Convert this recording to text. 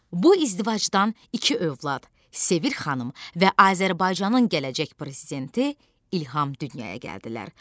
Bu izdivacdan iki övlad - Sevir xanım və Azərbaycanın gələcək prezidenti İlham dünyaya gəldilər.